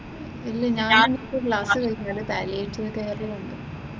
ഇല്ല ഞാനിപ്പോൾ ക്ലാസ് കഴിഞ്ഞാല് ചാലിക്കര ആയതേ ഉള്ളു.